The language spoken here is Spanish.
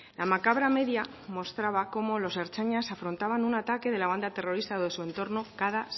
la macabra media mostraba cómo los ertzainas afrontaban un ataque de la banda terrorista o de su entorno cada